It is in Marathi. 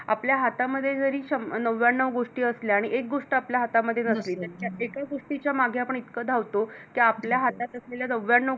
आपल्या हातामध्ये जरी नव्यानऊ गोष्टी असल्या आणि एक गोष्ट आपल्या हातामध्ये नसली तर एका गोष्टीच्या मागे आपण इतक धावतो कीं आपल्या हातात असलेल्या नव्यानऊ